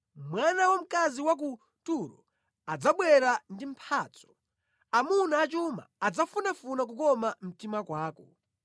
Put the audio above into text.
Mwana wa mkazi wa ku Turo adzabwera ndi mphatso, amuna a chuma adzafunafuna kukoma mtima kwako.